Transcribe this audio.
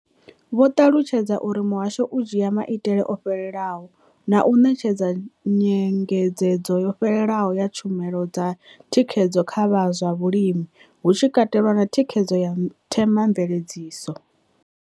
Vho ṱalutshedza uri muhasho u dzhia maitele o fhelelaho na u ṋetshedza nyengedzedzo yo fhelelaho ya tshumelo dza thikhedzo kha vha zwa vhulimi, hu tshi katelwa na thikhedzo ya Thema mveledziso.